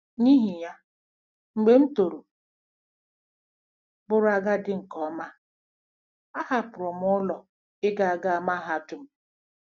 N'ihi ya, mgbe m toro bụrụ agadi nke ọma, a hapụrụ m ụlọ ịga ịga mahadum.